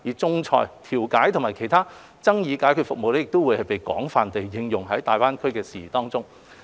仲裁、調解及其他爭議解決服務亦將會被更廣泛地應用在有關大灣區的事宜中。